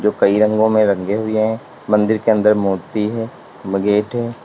कई रंगों में रंगे हुए हैं मंदिर के अंदर मूर्ति है व गेट है।